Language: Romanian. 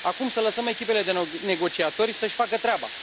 Acum să lăsăm echipele de negociatori să își facă treaba.